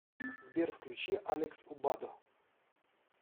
сбер включи алекс убадо